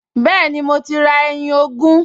Bẹ́ẹ̀ni, mo ti ra ẹyin ogún